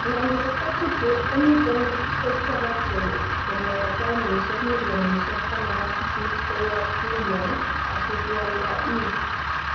Manchester City komiten kochopoksek konyor pauni millionishek18 koyob Lyon asikialda E